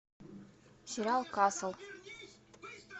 сериал касл